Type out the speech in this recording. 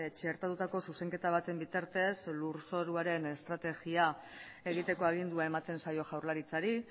txertatutako zuzenketa baten bitartez lurzoruaren estrategia egiteko agindua ematen zaio jaurlaritzari